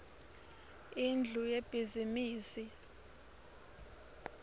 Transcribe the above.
indlu yebhizimisi